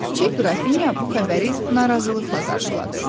Kiçik qrafinya bu xəbəri narazılıqla qarşıladı.